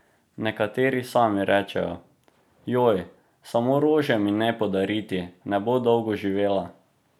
Nekateri sami rečejo: "Joj, samo rože mi ne podariti, ne bo dolgo živela.